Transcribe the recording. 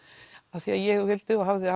af því ég vildi og hafði